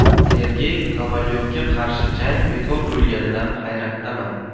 Sergey Kovalyovga qarshi jang bekor bo‘lganidan hayratdaman.